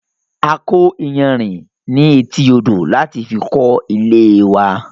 A kọ́ iyanrìn ní etí odò láti fi kó ilée wa